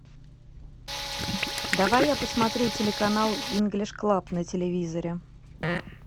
давай я посмотрю телеканал инглиш клаб на телевизоре